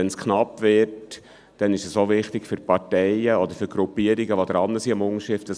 Wenn es knapp wird, ist es für die sammelnden Gruppierungen wichtig, zu wissen, wo man ungefähr steht.